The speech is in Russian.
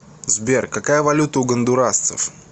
сбер какая валюта у гондурасцев